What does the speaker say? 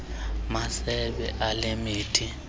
masebe ale mithi